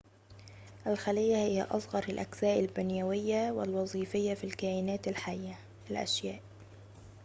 الخليّة هي أصغر الأجزاء البنيويّة والوظيفيّة في الكائنات الحيّة الأشياء